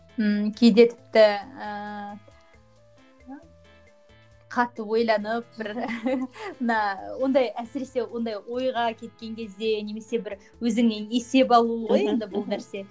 ммм кейде тіпті ііі қатты ойланып бір мына ондай әсіресе ондай ойға кеткен кезде немесе бір өзіңе есеп алу ғой енді бұл нәрсе